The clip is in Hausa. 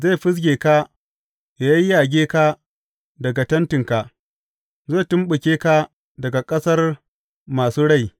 Zai fizge ka yă yayyage ka daga tentinka; zai tumɓuke ka daga ƙasar masu rai.